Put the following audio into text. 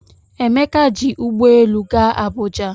Emeka ji ụgbọ elu gaa Abuja